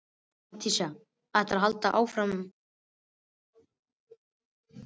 Matthías ætlar að halda áfram en aftur flautar skipið.